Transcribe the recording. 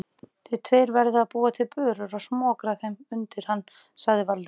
Þið tveir verðið að búa til börur og smokra þeim undir hann sagði Valdimar.